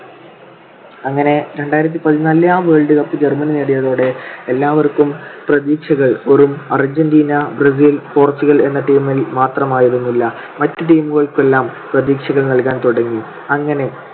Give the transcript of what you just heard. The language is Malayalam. അങ്ങനെ രണ്ടായിരത്തി പതിനാലിലെ ആ world cup ജർമ്മനി നേടിയതോടെ എല്ലാവർക്കും പ്രതീക്ഷകൾ വെറും അർജന്റീന, ബ്രസീൽ, പോർച്ചുഗൽ എന്ന team ൽ മാത്രമായിരുന്നില്ല മറ്റു team ക്കുമെല്ലാം പ്രതീക്ഷകൾ നൽകാൻ തുടങ്ങി. അങ്ങനെ